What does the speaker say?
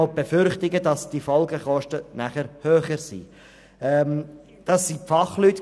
Sie befürchten zudem, dass die Folgekosten höher ausfallen.